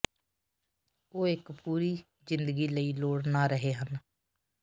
ਉਹ ਇੱਕ ਪੂਰੀ ਜ਼ਿੰਦਗੀ ਲਈ ਲੋੜ ਨਾ ਰਹੇ ਹਨ